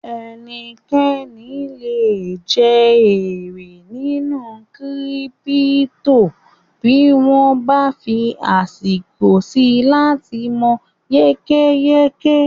Ẹnikẹ́ni lè je èrè nínú kírípítò bí wọ́n bá fí àsìkò síi láti mọ̀ yékéyéké